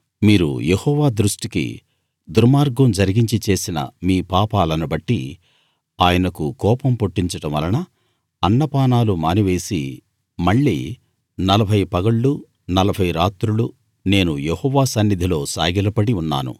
మీరు యెహోవా దృష్టికి దుర్మార్గం జరిగించి చేసిన మీ పాపాలను బట్టి ఆయనకు కోపం పుట్టించడం వలన అన్నపానాలు మానివేసి మళ్ళీ నలభై పగళ్లు నలభై రాత్రులు నేను యెహోవా సన్నిధిలో సాగిలపడి ఉన్నాను